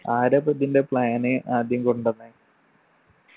ആരാപ്പ ഇതിൻ്റെ plan ആദ്യം കൊണ്ടന്നെ